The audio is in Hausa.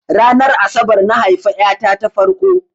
Ranar asabar na haifa ƴa ta ta farko.